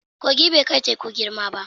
Kogi bai kai teku girma ba.